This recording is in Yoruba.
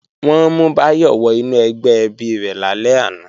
Wọ́n mú Báyọ̀ wọ inú ẹgbẹ́ ẹbí rẹ̀ lálẹ́ àná